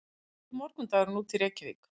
hvernig lítur morgundagurinn út í reykjavík